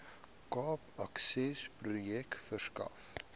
cape accessprojek verskaf